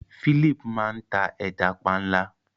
Philip máa n ta ẹja panla.